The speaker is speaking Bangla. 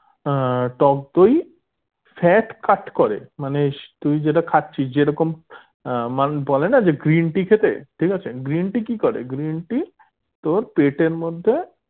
আহ টক দই fat cut করে মানে তুই যেটা খাচ্ছিস যেরকম আহ মানুষ বলে না যে green tea খেতে ঠিক আছে green tea কি করে green tea তোর পেটের মধ্যে